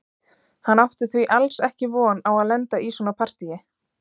Hann átti því alls ekki von á að lenda í svona partíi.